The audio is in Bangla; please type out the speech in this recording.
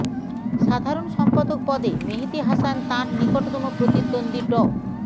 সাধারণ সম্পাদক পদে মেহেদী হাসান তাঁর নিকটতম প্রতিদ্বন্দ্বী ড